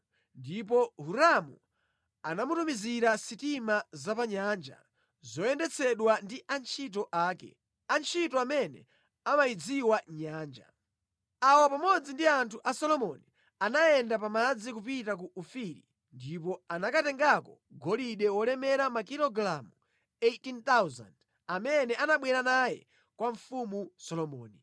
Ndipo Hiramu anatumiza sitima zapamadzi zoyendetsedwa ndi antchito ake, antchito amene ankayidziwa bwino nyanja. Awa pamodzi ndi anthu a Solomoni, anayenda pa madzi kupita ku Ofiri ndipo anakatengako golide olemera makilogalamu 18,000 amene anabwera naye kwa mfumu Solomoni.